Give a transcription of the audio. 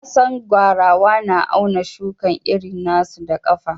Na San gwarawa na auna shukan iri na su da kafa.